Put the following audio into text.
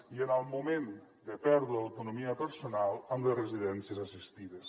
i en el moment de perdre l’autonomia personal amb les residències assistides